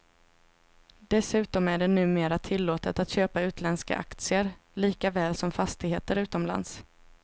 Dessutom är det numera tillåtet att köpa utländska aktier, lika väl som fastigheter utomlands.